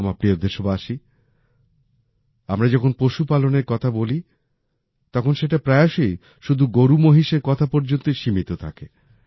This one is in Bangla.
আমার প্রিয় দেশবাসী আমরা যখন পশুপালনের কথা বলি তখন সেটা প্রায়শই শুধু গরুমহিষের কথা পর্যন্তই সীমিত থাকে